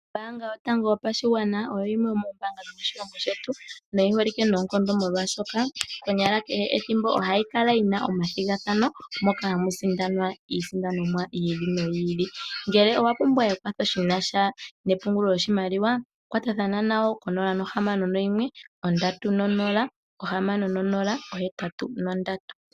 Ombaanga yotango yopashigwana oyo yimwe yomoombaanga dhomoshilongo shetu noyi holike noonkondo molwaashoka konyala kehe ethimbo ohayi kala yina omathigathano moka hamu sindanwa iisindanomwa yi ili noyi ili. Ngele owa pumbwa ekwatho shina sha nepungulo lyoshimaliwa kwatathana nayo konola nohamano noyimwe ondatu nonola ohamano nonola ohetatu nondatu.